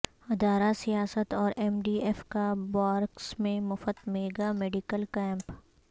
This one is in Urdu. ادارہ سیاست اور ایم ڈی ایف کا بارکس میں مفت میگا میڈیکل کیمپ